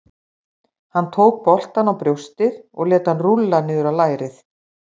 Hann tók boltann á brjóstið og lét hann rúlla niður á lærið.